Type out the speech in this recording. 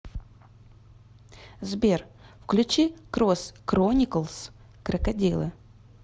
сбер включи крос крониклс крокодилы